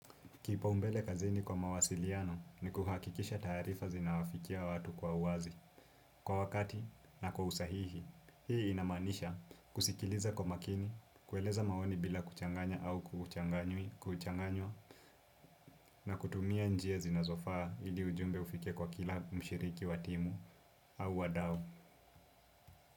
Kipaumbele kazini kwa mawasiliano ni kuhakikisha taarifa zinawafikia watu kwa uwazi. Kwa wakati na kwa usahihi, hii inamaanisha kusikiliza kwa makini, kueleza maoni bila kuchanganya au kuchanganywa na kutumia njia zinazofaa ili ujumbe ufike kwa kila mshiriki wa timu au wadau.